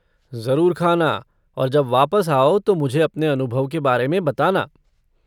जरुर ख़ाना और जब वापस आओ तो मुझे अपने अनुभव के बारे में बताना।